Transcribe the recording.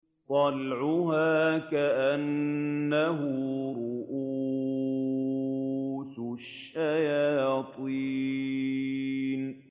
طَلْعُهَا كَأَنَّهُ رُءُوسُ الشَّيَاطِينِ